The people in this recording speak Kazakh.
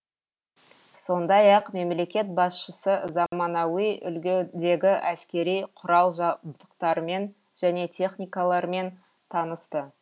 сондай ақ мемлекет басшысы заманауи үлгідегі әскери құрал жабдықтармен және техникалармен танысты